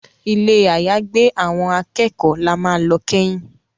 Ilé àyágbé àwọn akẹ́kọ̀ọ́ là má lọ keyin.